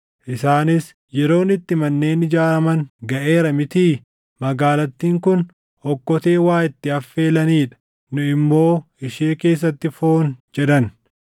Isaanis, ‘Yeroon itti manneen ijaaraman gaʼeera mitii? Magaalattiin kun okkotee waa itti affeelanii dha; nu immoo ishee keessatti foon’ jedhan.